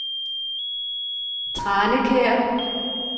Tranekær